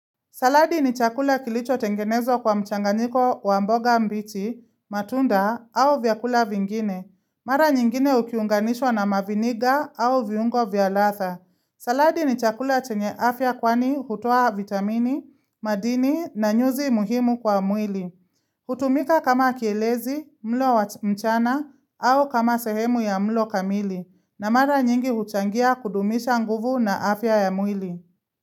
Saladi ni chakula kilicho tengenezwa kwa mchanganyiko wa mboga mbichi, matunda au vyakula vingine. Mara nyingine ukiunganishwa na maviniga au viungo vya latha. Saladi ni chakula chenye afya kwani hutoa vitamini, madini na nyuzi muhimu kwa mwili. Hutumika kama kielezi mlo wa mchana au kama sehemu ya mlo kamili. Na mara nyingi huchangia kudumisha nguvu na afya ya mwili.